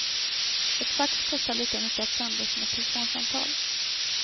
Ett fax kostar lika mycket att sända som ett telefonsamtal.